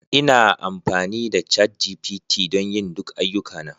Ina amfani da ChatGPT don yin duk ayyukana